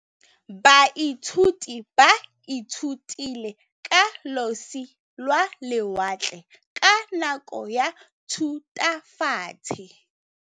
Baithuti ba ithutile ka losi lwa lewatle ka nako ya Thutafatshe.